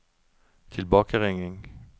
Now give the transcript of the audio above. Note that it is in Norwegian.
tilbakeringing